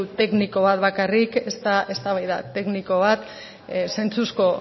tekniko bat bakarrik ez da eztabaida tekniko bat zentzuzko